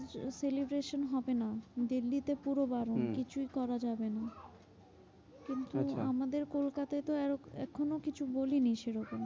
Celebration হবে না। দিল্লিতে পুরো বারণ হম কিছুই করা যাবে না। কিন্তু আচ্ছা আমাদের কলকাতায় তো এখনো কিছু বলেনি সেরকম।